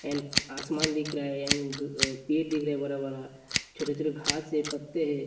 एन् आसमान दिख रहा है एन ग् अ पेड़ दिख रहा है बरा -बरा । छोटे-छोटे घास ए पत्ते है।